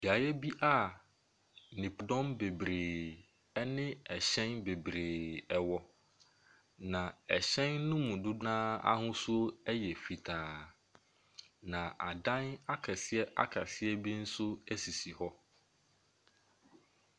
Beaeɛ bi a nipadɔm bebree ne ɛhyɛn bebree wɔ. Na ɛhyɛn no mu dodoɔ no ara ahosuo yɛ fitaa. Nasa akɛseɛ akɛseɛ bio nso sisi hɔ.